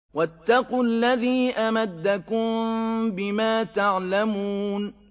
وَاتَّقُوا الَّذِي أَمَدَّكُم بِمَا تَعْلَمُونَ